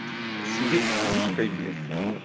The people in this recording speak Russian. сидит с книжкой блин